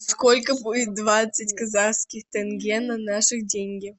сколько будет двадцать казахских тенге на наши деньги